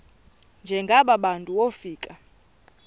njengaba bantu wofika